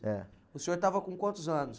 ´É. O senhor estava com quantos anos?